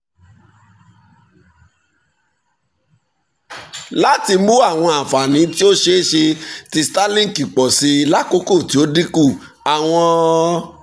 lati mu awọn anfani ti o ṣeeṣe ti starlink pọ si lakoko ti o dinku awọn